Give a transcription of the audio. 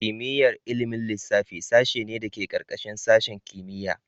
Kimiyyar ilimin lissafi sashe ne da ke ƙarƙashin sashin kimiyya.